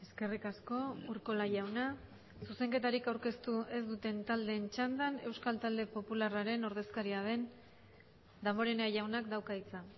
eskerrik asko urkola jauna zuzenketarik aurkeztu ez duten taldeen txandan euskal talde popularraren ordezkaria den damborenea jaunak dauka hitza